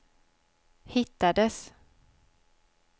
hittades